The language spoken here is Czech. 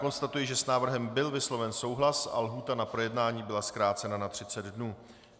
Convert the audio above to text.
Konstatuji, že s návrhem byl vysloven souhlas a lhůta na projednání byla zkrácena na 30 dnů.